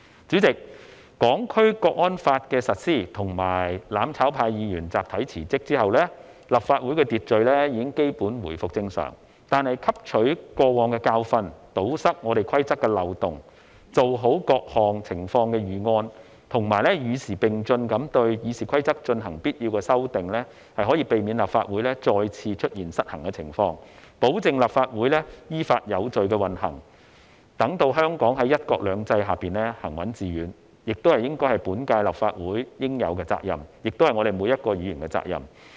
主席，《香港國安法》的實施和"攬炒派"議員集體辭職後，立法會的秩序已基本回復正常，但汲取過往的教訓，堵塞規則的漏洞，做好各項情況的預案，以及與時並進地對《議事規則》進行必要的修訂，是可以避免立法會再次出現失衡的情況，保證立法會依法有序地運行，讓香港在"一國兩制"下行穩致遠，這應是本屆立法會應有的責任，亦應是每位議員的責任。